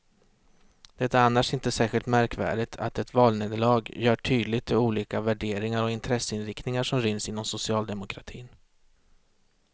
Det är annars inte särskilt märkvärdigt att ett valnederlag gör tydligt de olika värderingar och intresseinriktningar som ryms inom socialdemokratin.